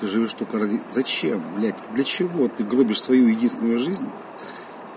ты живёшь только ради зачем блядь для чего ты гробишь свою единственную жизнь